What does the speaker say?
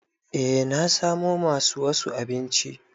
E na samo masu wasu abinci.